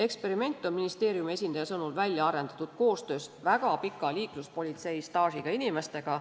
Eksperiment on ministeeriumi esindaja sõnul välja arendatud koostöös väga pika liikluspolitseistaažiga inimestega.